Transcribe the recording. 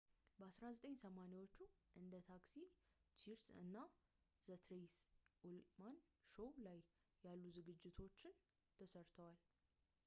በ1980ዎቹ ዘመን እንደ ታክሲ ቺርስ እና ዘ ትሬይሲ ኡልማን ሾው ያሉ ዝግጅቶች ላይ ሠርቷል